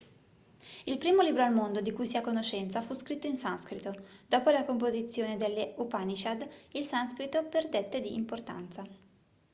il primo libro al mondo di cui si ha conoscenza fu scritto in sanscrito dopo la composizione delle upanishad il sanscrito perdette di importanza